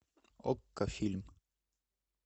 окко фильм